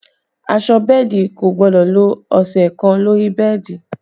Aṣọ bẹ́ẹ̀dì kò gbọ́dọ̀ lo ọ̀sẹ̀ kan lórí bẹ́ẹ̀dì